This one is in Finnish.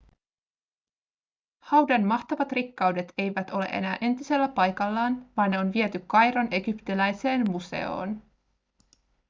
haudan mahtavat rikkaudet eivät ole enää entisellä paikallaan vaan ne on viety kairon egyptiläiseen museoon